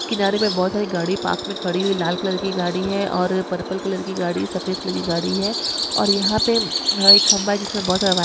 किनारे में बहुत सारी गाड़ी पार्क में खड़ी हुई लाल कलर की गाड़ी है और पर्पल कलर की गाड़ीसफेद कलर की गाड़ी है और यहां पर खंबा जिसमें बहुत सारा--